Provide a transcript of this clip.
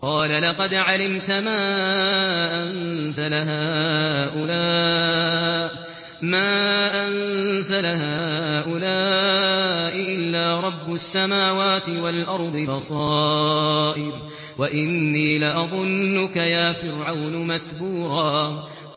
قَالَ لَقَدْ عَلِمْتَ مَا أَنزَلَ هَٰؤُلَاءِ إِلَّا رَبُّ السَّمَاوَاتِ وَالْأَرْضِ بَصَائِرَ وَإِنِّي لَأَظُنُّكَ يَا فِرْعَوْنُ مَثْبُورًا